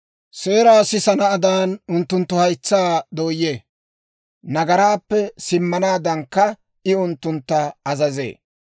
Seeraa sisanaadaan unttunttu haytsaa dooyee; nagaraappe simmanaadankka I unttuntta azazee.